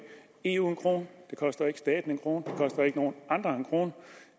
eu en krone det koster ikke staten en krone det koster ikke nogen andre en krone